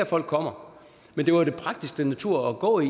folk kommer men det var den prægtigste natur at gå i